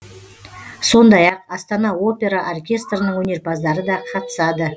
сондай ақ астана опера оркестрінің өнерпаздары да қатысады